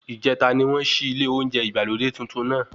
Ìjẹta ni wọ́n ṣí ilé oúnjẹ ìgbàlódé tuntun náà.